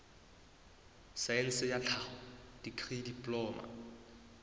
saense ya tlhaho dikri diploma